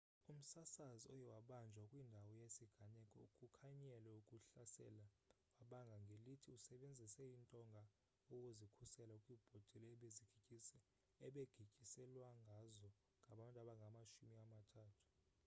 umsasazi oye wabanjwa kwindawo yesiganeko ukukhanyele ukuhlasela wabanga ngelithi usebenzise intonga ukuzikhusela kwibhotile abegityiselwangazo ngabantu abangamashumi amathathu